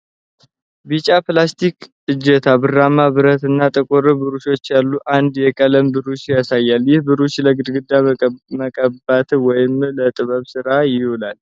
ቢጫ ፕላስቲክ እጀታ፣ ብርማ ብረት እና ጥቁር ብሩሾች ያሉት አንድ የቀለም ብሩሽን ያሳያል። ይህ ብሩሽ ለግድግዳ መቀባት ወይም ለጥበብ ሥራ ይውላል?